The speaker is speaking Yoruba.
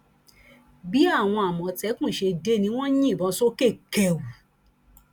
bí àwọn àmọtẹkùn ṣe dé ni wọn ń yìnbọn sókè kẹù